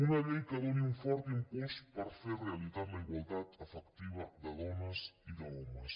una llei que doni un fort impuls per fer realitat la igualtat efectiva de dones i d’homes